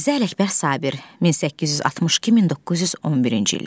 Mirzə Ələkbər Sabir, 1862-1911-ci illər.